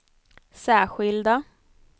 särskilda